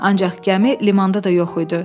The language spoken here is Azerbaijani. Ancaq gəmi limanda da yox idi.